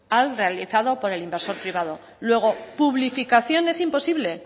al realizado por el inversor privado luego publificación es imposible